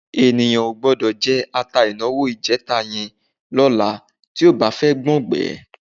Ènìyàn ò gbọ́dọ̀ jẹ ata ìnáwó ìjẹta yẹn lọ́la tí ò bá fẹ́ gbọ́ngbẹ̀ẹ́.